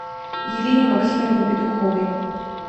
елене максимовне петуховой